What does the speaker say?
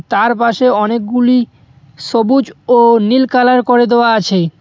তার পাশে অনেকগুলি সবুজ ও নীল কালার করে দেওয়া আছে।